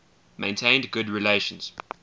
maintained good relations